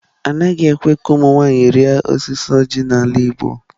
Anaghị ekwe ka ụmụ nwanyị rịa osisi oji n'ala igbo.